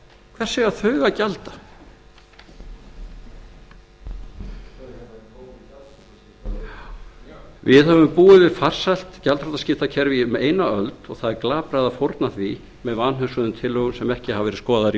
hvers eiga þau að gjalda við höfum búið við farsælt gjaldþrotaskiptakerfi í eina öld og það er glatað að fórna því með vanhugsuðum tillögum sem ekki hafa verið skoðaðar í